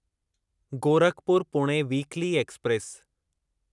Gorakhpur Pune weekly express